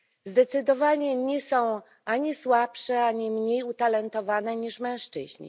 Zdecydowanie nie są ani słabsze, ani mniej utalentowane niż mężczyźni.